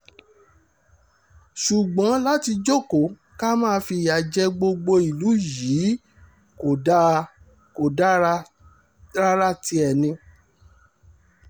ṣùgbọ́n láti jókòó kan máa fìyà jẹ gbogbo ìlú yìí kò dáa kó dáa rárá tiẹ̀ ni